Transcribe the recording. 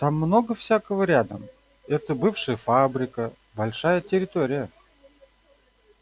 там много всякого рядом это бывшая фабрика большая территория